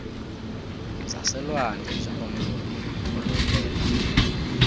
zaselwandle njengomlobi olobela